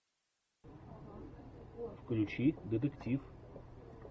включи детектив